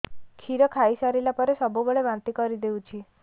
କ୍ଷୀର ଖାଇସାରିଲା ପରେ ସବୁବେଳେ ବାନ୍ତି କରିଦେଉଛି